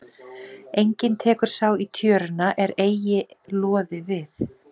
Enginn tekur sá í tjöruna er eigi loði við.